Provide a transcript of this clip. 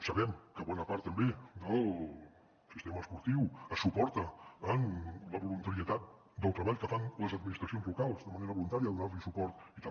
sabem que bona part també del sistema esportiu es suporta amb la voluntarietat del treball que fan les administracions locals de manera voluntària donant li suport i tal